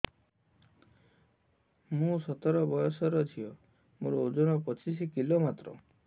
ମୁଁ ସତର ବୟସର ଝିଅ ମୋର ଓଜନ ପଚିଶି କିଲୋ ମାତ୍ର